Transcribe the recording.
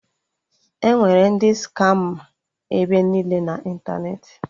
Enwere ndị skama ebe niile na ịntanetị